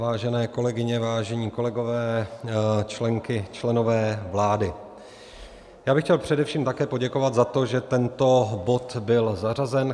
Vážené kolegyně, vážení kolegové, členky, členové vlády, já bych chtěl především také poděkovat za to, že tento bod byl zařazen.